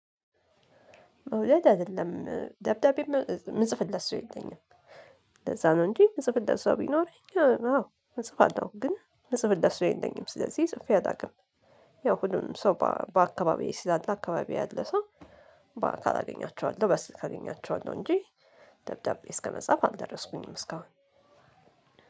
ውሸት አይደለም ደብዳቤ የምጽፍለት ሰው የለም። እንደዛ ነው እንጂ የምጽፍለት ሰው ቢኖር አዎ እጽፋለሁ። ግን ምጽፍለት ሰው የለኝም ጽፌ አላውቅም። ያው ሁሉንም ሰው በአካባቢው ስላለ አካባቢው ያለ ሰው በአካል አገኛቸዋለሁ። በስልክ አገኛቸዋለሁ እንጂ ደብዳቤ እስከመጻፍ አልደረስኩኝም እስካሁን።